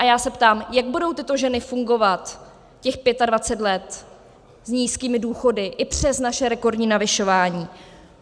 A já se ptám, jak budou tyto ženy fungovat těch 25 let s nízkými důchody i přes naše rekordní navyšování.